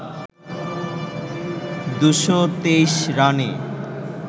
২২৩ রানে